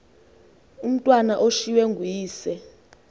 umatwana ushiywe nguyise